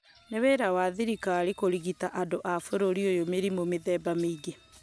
nĩ wĩra wa thirikari kũrigita andũ a bũrũri ũyũ mĩrimũ mĩthemba mĩingĩ